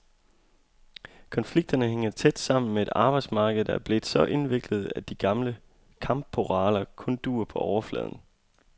Konflikterne hænger tæt sammen med et arbejdsmarked, der er blevet så indviklet, at de gamle kampparoler kun duer på overfladen.